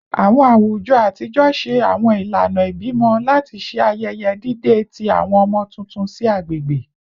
Awọn awujọ atijọ ṣe awọn ilana ibimọ lati ṣe ayẹyẹ dide ti awọn ọmọ tuntun si agbegbe